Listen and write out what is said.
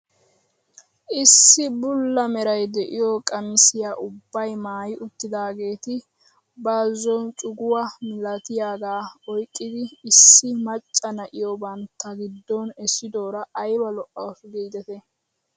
Issi bulla meray de'iyoo qamisiyaa ubbay maayi uttidaageti bazon cuguwaa milatiyaagaa oyqqidi issi macca na'iyoo bantta giddon essidoora ayba lo"awus gidetii!